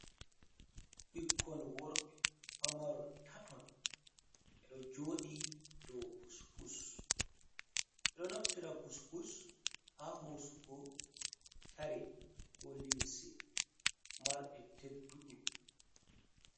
Ɓikkon worɓe pamaron taton ɓeɗo joɗi dow pus pus, ɓeɗo naftira pus pus ha hosugo kare ko limse marɗe tedduɗum.